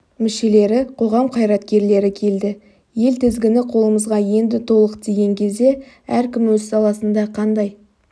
мүшелері қоғам қайраткерлері келді ел тізгіні қолымызға енді толық тиген кезде әркім өз саласында қандай